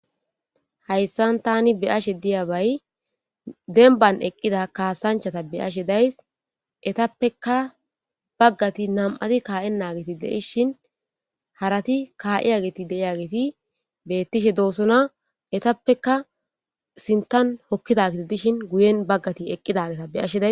Haysan Tani beyashe diyabay demban eqida kasanchata beyashe days etapeka bagati nam'ati ka'ena geti de'ishin harati ka'iya geti de'iyageti betishedosona etapeka sinthan hokidaheti dishin guyen bagati eqidaheta beyashe days